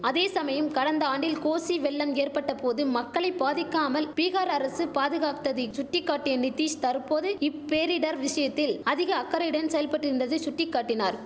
அதே சமயம் கடந்த ஆண்டில் கோசி வெள்ளம் ஏற்பட்ட போது மக்களை பாதிக்காமல் பீகார் அரசு பாதுகாத்ததை சுட்டிகாட்டிய நிதிஷ் தற்போது இப்பேரிடர் விஷயத்தில் அதிக அக்கறையுடன் செயல்பட்டிருந்ததை சுட்டிகாட்டினார்